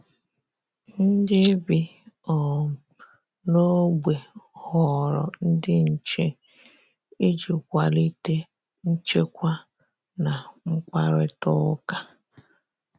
Ndị bi um n'ogbe họrọ ndị nche iji kwalite nchekwa na mkparitauka